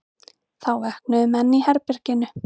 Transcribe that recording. Þá vöknuðu menn í herberginu.